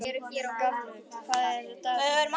Gjaflaug, hvað er á dagatalinu mínu í dag?